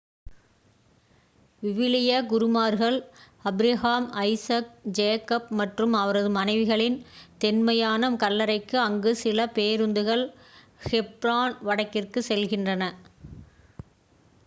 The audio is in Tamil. விவிலிய குருமார்கள் ஆபிரகாம் ஐசக் ஜேகப் மற்றும் அவரது மனைவிகளின் தொன்மையான கல்லறைக்கு அங்கு சில பேருந்துகள் ஹெப்ரான் வடக்கிற்கு செல்கின்றன